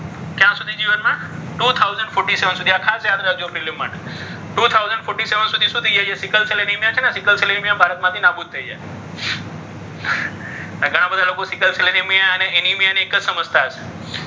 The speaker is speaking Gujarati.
two thousand floury seven આ ખાસ યાદ રાખજો. prelime માટે two thousand fourty seven સુધી શું થઈ જશે ને sickle cell anaemia, sickle cell anaemia એ ભારતમાંથી નાબૂદ થઈ જશે. ઘણા બધા લોકો સીકલ સેલ એનેમિયા અને એનિમિયા એક જ સમજતા હશે.